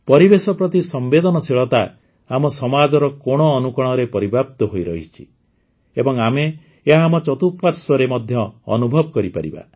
ପରିବେଶ ପ୍ରତି ସମ୍ବେଦନଶୀଳତା ଆମ ସମାଜର କୋଣଅନୁକୋଣରେ ପରିବ୍ୟାପ୍ତ ହୋଇରହିଛି ଏବଂ ଆମେ ଏହା ଆମ ଚତୁଃପାଶ୍ୱର୍ରେ ମଧ୍ୟ ଅନୁଭବ କରିପାରିବା